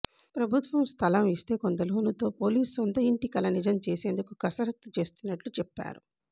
ప్రభుత్వం స్థలం ఇస్తే కొంత లోనుతో పోలీసు సొంత ఇంటి కల నిజం చేసేందుకు కసరత్తు చేస్తున్నట్లు చెప్పారు